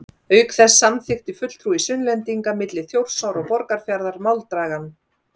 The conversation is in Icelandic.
Auk þess samþykkti fulltrúi Sunnlendinga milli Þjórsár og Borgarfjarðar máldagann.